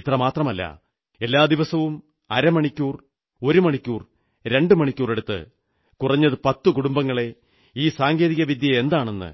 ഇത്രമാത്രമല്ല എല്ലാ ദിവസവും അരമണിക്കൂർ ഒരു മണിക്കൂർ രണ്ടുമണിക്കൂറെടുത്ത് കുറഞ്ഞത് പത്തു കുടുംബങ്ങളെ ഈ സാങ്കേതിക വിദ്യയെന്താണെന്ന്